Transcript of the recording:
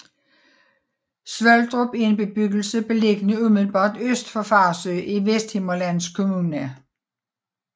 Svoldrup er en bebyggelse beliggende umiddelbart øst for Farsø i Vesthimmerlands Kommune